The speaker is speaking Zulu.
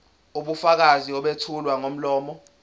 ubufakazi obethulwa ngomlomo